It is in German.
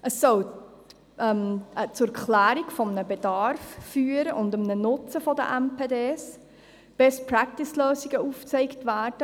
Er soll zur Klärung eines Bedarfs und eines Nutzens von MPD führen, es sollen Best-Practice-Lösungen aufgezeigt werden.